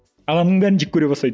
адамның бәрін жек көре бастайды